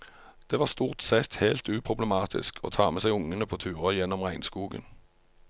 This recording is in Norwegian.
Det var stort sett helt uproblematisk å ta med seg ungene på turer gjennom regnskogen.